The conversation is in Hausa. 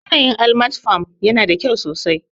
Yanayin Almat farm yana da kyau sosai